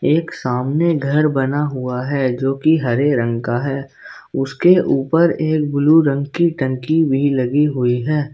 एक सामने घर बना हुआ है जो की हरे रंग का है उसके ऊपर एक ब्लू रंग की टंकी भी लगी हुई है।